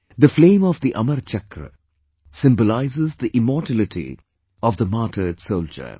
The flame of the Amar Chakra symbolizes the immortality of the martyred soldier